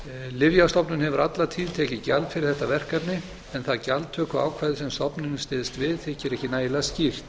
lyfjastofnun hefur alla tíð tekið gjald fyrir þetta verkefni en það gjaldtökuákvæði sem stofnunin styðst við þykir ekki nægilega skýrt